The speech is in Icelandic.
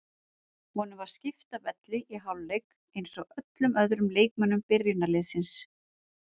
Honum var skipt af velli í hálfleik eins og öllum öðrum leikmönnum byrjunarliðsins.